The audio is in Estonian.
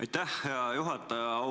Aitäh, hea juhataja!